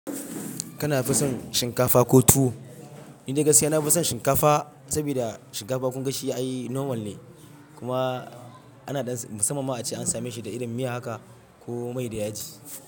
Kana fison shinkafa ko tuwo? Ni dai gaskiya na fison shinkafa sabida shinkafa kun gashi ai normal ne kuma ina dan son musamman ma ace an same shi da irin miya haka ko mai da yaji.